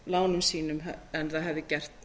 lánum sínum en það hefði gert